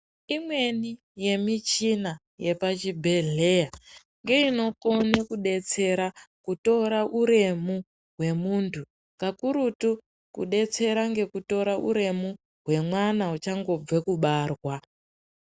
Imweni yemichina yepachibhedhleya ngeinokone kudetsera kutora uremu wemuntu kakurutu kudetsereka ngekutora uremu hwemwana uchangobva kubarwa.